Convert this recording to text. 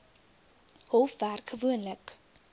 hof werk gewoonlik